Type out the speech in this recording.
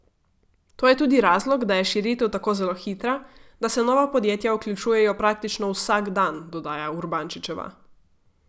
To je tudi razlog, da je širitev tako zelo hitra, da se nova podjetja vključujejo praktično vsak dan, dodaja Urbančičeva.